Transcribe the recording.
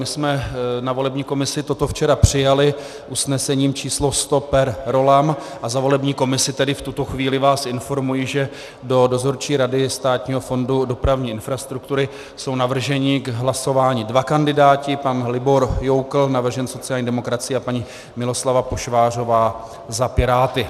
My jsme na volební komisi toto včera přijali usnesením číslo 100 per rollam a za volební komisi tedy v tuto chvíli vás informuji, že do Dozorčí rady Státního fondu dopravní infrastruktury jsou navrženi k hlasování dva kandidáti - pan Libor Joukl, navržen sociální demokracií, a paní Miloslava Pošvářová za Piráty.